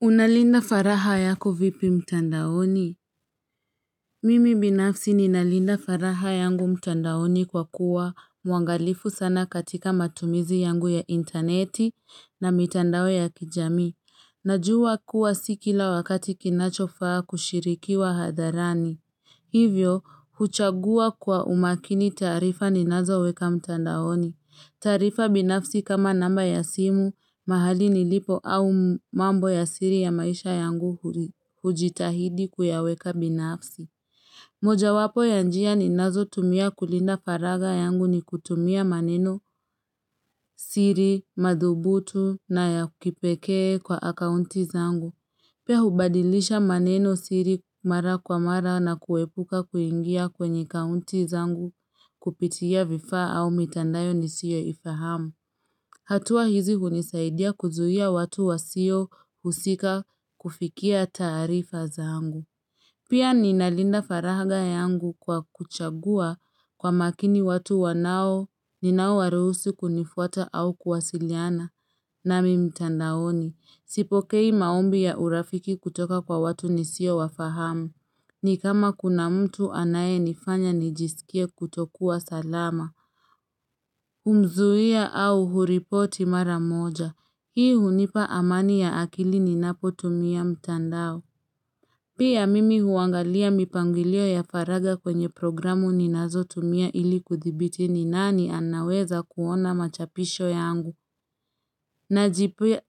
Unalinda faraha yako vipi mtandaoni? Mimi binafsi ninalinda faraha yangu mtandaoni kwa kuwa muangalifu sana katika matumizi yangu ya interneti na mitandao ya kijami. Najua kuwa sikila wakati kinachofaa kushirikiwa hadharani. Hivyo, huchagua kwa umakini tarifa ninazo weka mtandaoni. Tarifa binafsi kama namba ya simu, mahali nilipo au mambo ya siri ya maisha yangu hujitahidi kuya weka binafsi. Moja wapo ya njia ni nazo tumia kulinda faraga yangu ni kutumia maneno siri, madhubutu na ya kipekee kwa akaunti zangu. Pia hubadilisha maneno siri mara kwa mara na kuepuka kuingia kwenye kaunti zangu kupitia vifa au mitandayo ni siyo ifahamu. Hatua hizi hunisaidia kuzuia watu wa sio husika kufikia tarifa zangu. Pia ninalinda faraga yangu kwa kuchagua kwa makini watu wanao ninao waruhusu kunifuata au kuwasiliana na mimtandaoni. Sipokei maombi ya urafiki kutoka kwa watu nisio wafahamu. Ni kama kuna mtu anaye nifanya nijisikie kutokuwa salama. Humzuia au huripoti maramoja. Hii hunipa amani ya akili ninapotumia mtandao. Pia mimi huangalia mipangilio ya faraga kwenye programu ni nazo tumia ili kuthibiti ni nani anaweza kuona machapisho yangu.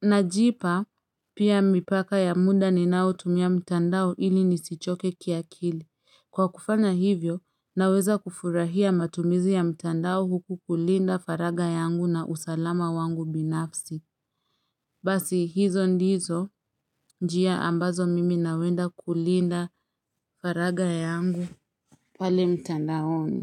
Najipa pia mipaka ya muda ni nao tumia mtandao ili nisichoke ki akili. Kwa kufana hivyo, naweza kufurahia matumizi ya mtandao huku kulinda faraga yangu na usalama wangu binafsi. Basi hizo ndizo njia ambazo mimi nawenda kulinda faraga yangu. Pale mtandaoni.